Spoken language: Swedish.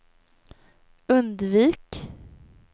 undvik